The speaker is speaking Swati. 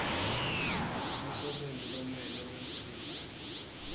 umsebenti lomele wentiwe